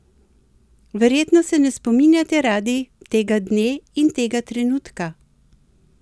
Verjetno se ne spominjate radi tega dne in tega trenutka?